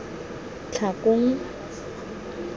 tlhakong